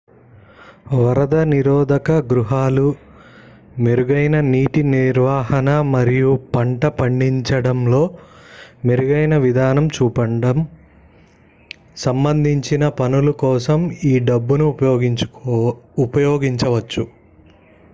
వరద నిరోధక గృహాలు మెరుగైన నీటి నిర్వహణ మరియు పంట పడించడంలో మెరుగైన విధానం చూపడం సంబంధించిన పనుల కోసం ఈ డబ్బును ఉపయోగించవచ్చు